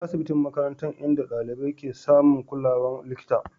asibitin makarantan inda dalibai ke samun kulawar likita.